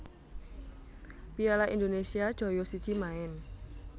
piala Indonesia joyo siji maen